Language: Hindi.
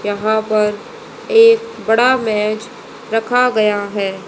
यहां पर एक बड़ा मैच रखा गया है।